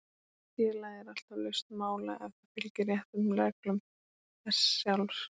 Félagið er alltaf laust mála ef það fylgir réttum reglum þess sjálfs.